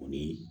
O de ye